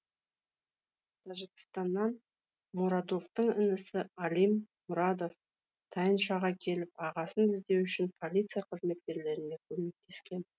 тәжікстаннан муродовтың інісі алим муродов тайыншаға келіп ағасын іздеу үшін полиция қызметкерлеріне көмектескен